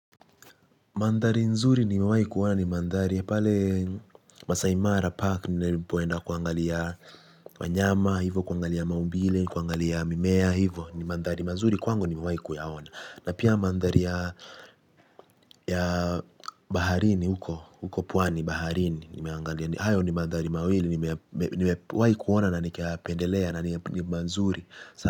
Mandhari nzuri nimewahi kuona ni mandhari ya pale, MasaiMara Park nilipoenda kuangalia wanyama, hivo kuangalia maumbile, kuangalia mimea hivo, ni mandhari mazuri kwangu, nimewahi kuyaona. Na pia mandhari ya, baharini huko, huko pwani, baharini nimeangalia. Hayo ni mandhari mawili nimewahi kuona na nikayapendelea na ni mazuri.